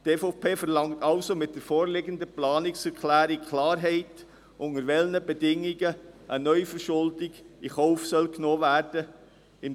Die EVP verlangt somit mit der vorliegenden Planungserklärung Klarheit, unter welchen Bedingungen eine Neuverschuldung in Kauf genommen werden soll.